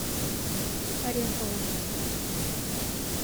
ореховым